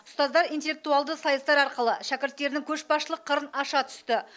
ұстаздар интеллектуалды сайыстар арқылы шәкірттерінің көшбасшылық қырын аша түсті